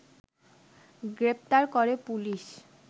গ্রেপ্তার করে পুলিশ